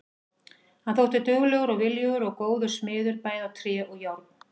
Hann þótti duglegur og viljugur og góður smiður bæði á tré og járn.